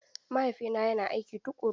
Mahaifina yana aiki tuƙuru.